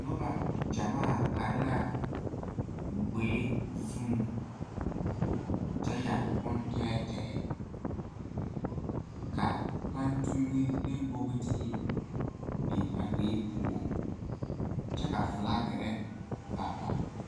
Noba gyamaa are la gboɛ zuŋ, kyɛ yeere boŋ tɛɛtɛɛ, ka pantune ne bogotiire biŋ a gboɛ poɔ kyɛ ka fiilakere ba ba.